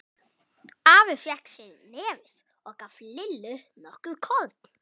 Afi fékk sér í nefið og gaf Lillu nokkur korn.